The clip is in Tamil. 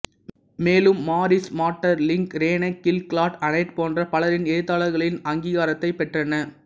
மேலும் Maurice Maeterlinck René Ghil Claude Anet போன்ற பலரின் எழுத்தாளர்களின் அங்கீகாரத்தைப் பெற்றன